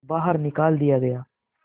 बाहर निकाल दिया गया